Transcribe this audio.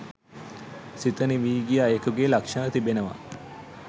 සිත නිවි ගිය අයෙකුගේ ලක්ෂන තිබෙනවා